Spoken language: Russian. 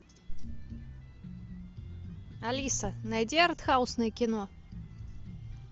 алиса найди артхаусное кино